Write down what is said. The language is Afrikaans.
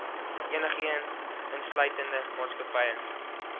enigeen insluitende maatskappye